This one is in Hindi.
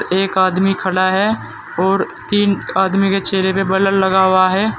एक आदमी खड़ा है और तीन आदमी के चेहरे पे बल्ब लगा हुआ है।